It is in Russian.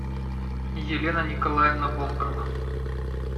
елена николаевна волкова